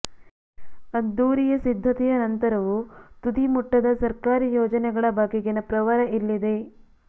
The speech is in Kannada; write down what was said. ಅದ್ದೂರಿಯ ಸಿದ್ಧತೆಯ ನಂತರವೂ ತುದಿ ಮುಟ್ಟದ ಸರ್ಕಾರಿ ಯೋಜನೆಗಳ ಬಗೆಗಿನ ಪ್ರವರ ಇಲ್ಲಿದೆ